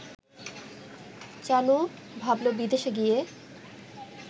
চানু ভাবল-বিদেশে গিয়ে